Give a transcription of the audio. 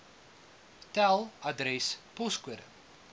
tel adres poskode